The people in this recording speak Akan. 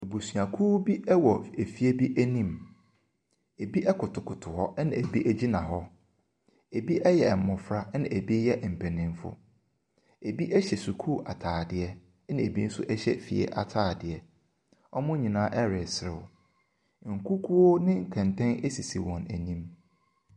Abusuakuo bi wɔ fie bi anim. Ɛbi kotokoto hɔ, ɛna ɛbi gyina hɔ. Ɛbi yɛ mmɔfra, ɛna ɛbi yɛ mpanimfoɔ. Ɛbi hyɛ sukuu ataadeɛ, ɛna ɛbi nso hyɛ fie ataadeɛ. Wɔn nyinaa reserew. Nkukuo ne kɛntɛn sisi wɔn anim.